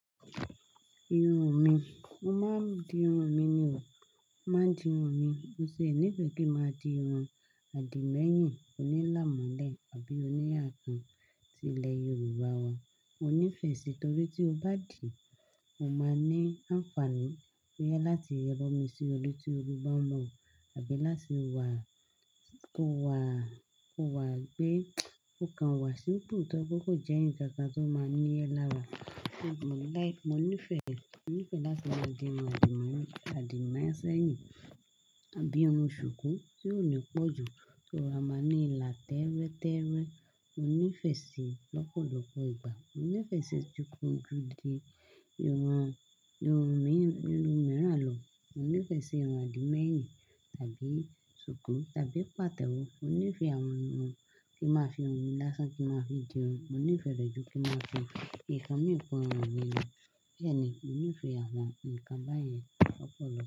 Irun mi, mo máa ń di irun mi ni o. Mo máa ń di irun mi. Mo sì nífẹ̀ẹ́ kí n máa di irun àdìmẹ́yìn oní lámọ́lẹ̀ àbí oníyà kan tí ilẹ̀ Yorùbá wa. Mo nífẹ̀ẹ́ sí, torí tí o bá dì í, mó máa ní àǹfààní pé láti bu omi sí orí tí orú bá mun, àbí láti wàá, kó wàá, kó wà gbé, ó kan wà simple tó pé kò jẹ́ ǹkan kan tó máa ní e lára. Mo like, mo nífẹ̀ẹ́, mo nífẹ̀ẹ́ láti máa di irun àdìmẹ́yìn, àdìmẹ́yìn sẹ́yìn, àbí irun ṣùkú tí ó ní pọ̀ jù, tó rọra máa ní ilà tẹ́rẹ́tẹ́rẹ́. Mo nífẹ̀ẹ́ sí i lọ́pọ̀lọpọ̀ ìgbà. Mo nífẹ̀ẹ́ sí i ju kí n fi di irun, irun míì, irun mìíràn lọ. Mo nífẹ̀ẹ́ sí irun àdìmẹ́yìn tàbí ṣùkú tàbí pàtẹ́wọ́. Mo nífẹ̀ẹ́ àwọn irun kí n máa fi irun mi lásán kí n máa fi di irun. Mo nífẹ̀ẹ́ rẹ jú kí n máa fi ǹkan mì kún irun mi lọ. Bẹ́ẹ̀ ni, mo nífẹ̀ẹ́ àwọn ǹkan báyẹn lọ́pọ̀lọpọ̀